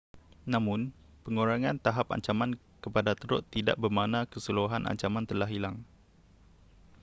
namun, pengurangan tahap ancaman kepada teruk tidak bermakna keseluruhan ancaman telah hilang